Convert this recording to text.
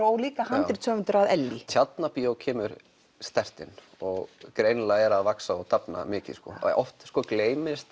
og líka handritshöfundur að Ellý Tjarnarbíó kemur sterkt inn og greinilega er að vaxa og dafna mikið oft gleymist